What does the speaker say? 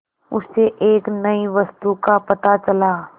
उसे एक नई वस्तु का पता चला